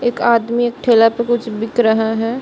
एक आदमी एक ठेला पे कुछ बिक रहा है।